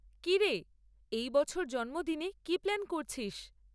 কী রে, এই বছর জন্মদিনে কী প্ল্যান করছিস?